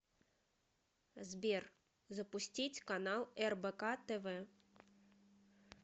сбер запустить канал рбк тв